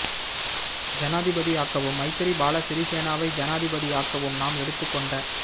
ஜனாதிபதியாக்கவும் Maithripala சிறி சேனாவை ஜனாதிபதியாக்கவும் நாம் எடுத்துக் கொண்ட